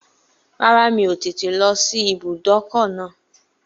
Rárá, mi ò tètè lọ sí ibùdókọ̀ náà